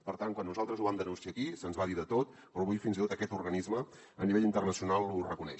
per tant quan nosaltres ho vam denunciar aquí se’ns va dir de tot però avui fins i tot aquest organisme a nivell internacional ho reconeix